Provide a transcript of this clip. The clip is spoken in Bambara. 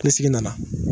Kile sigi nana